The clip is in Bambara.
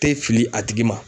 tɛ fili a tigi ma.